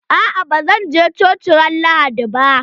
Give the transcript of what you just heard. Aa ba zan je coci ran lahadi ba.